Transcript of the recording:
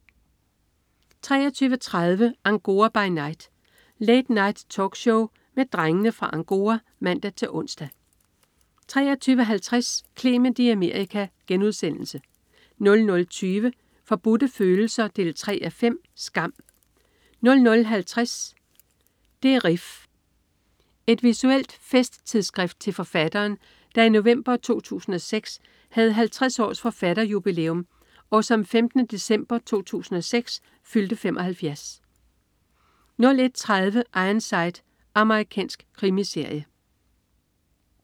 23.30 Angora by Night. Late Night-talkshow med Drengene fra Angora (man-ons) 23.50 Clement i Amerika* 00.20 Forbudte Følelser 3:5. Skam* 00.50 Det' Rif. Et visuelt festtidsskrift til forfatteren, der i november 2006 havde 50-års-forfatterjubilæum, og som 15. december 2006 fyldte 75 01.30 Ironside. Amerikansk krimiserie